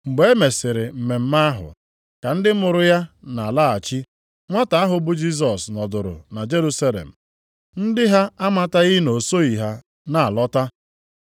Mgbe e mesịrị mmemme ahụ, ka ndị mụrụ ya na-alaghachi, nwata ahụ bụ Jisọs nọdụrụ na Jerusalem. Ndị ha amataghị na o soghị ha na-alọta.